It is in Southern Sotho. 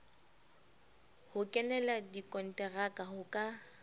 ho kenela dikonteraka ho ka